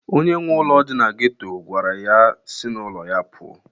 Onye nwe ụlọ dị na geto gwara ya si n'ụlọ ya pụọ!